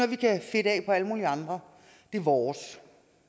vi kan fedte af på alle mulige andre det er vores